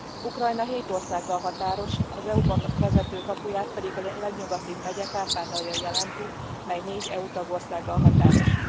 Ukrajna hét országgal határos, az EU ba vezető kapuját pedig a legnyugatibb megye, Kárpátalja jelenti, mely négy EU tagországgal határos.